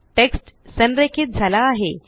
text संरेखीत झाला आहे